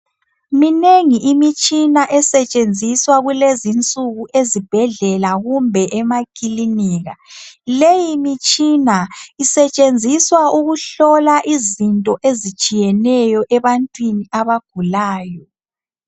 Minengi imitshina esetshenziswa kulezi insuku ezibhedlela kumbe emakilinika. Leyi mitshina isetshenziswa ukuhlola izinto ezitshiyeneyo ebantwini abagulayo.